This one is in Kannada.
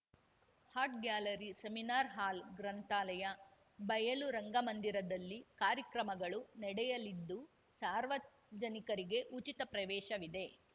ಆರ್ಟ್‌ ಗ್ಯಾಲರಿ ಸೆಮಿನಾರ್‌ ಹಾಲ್‌ ಗ್ರಂಥಾಲಯ ಬಯಲು ರಂಗಮಂದಿರದಲ್ಲಿ ಕಾರ್ಯಕ್ರಮಗಳು ನಡೆಯಲಿದ್ದು ಸಾರ್ವಜನಿಕರಿಗೆ ಉಚಿತ ಪ್ರವೇಶವಿದೆ